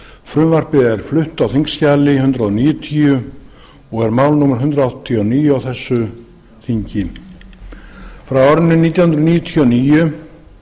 frumvarpið er flutt á þingskjali hundrað níutíu og er mál númer hundrað áttatíu og níu á þessu þingi frá árinu nítján hundruð níutíu og níu